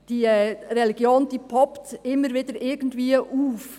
Die Religion taucht stets wieder irgendwo auf.